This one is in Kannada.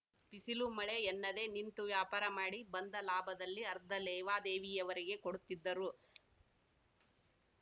ಬಿಸಿಲು ಮಳೆ ಎನ್ನದೇ ನಿಂತು ವ್ಯಾಪಾರ ಮಾಡಿ ಬಂದ ಲಾಭದಲ್ಲಿ ಅರ್ಧ ಲೇವಾದೇವಿಯವರಿಗೆ ಕೊಡುತ್ತಿದ್ದರು